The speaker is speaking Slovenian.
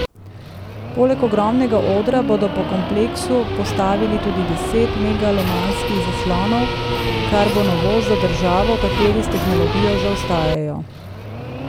Poleg ogromnega odra bodo po kompleksu postavili tudi deset megalomanskih zaslonov, kar bo novost za državo, v kateri s tehnologijo zaostajajo.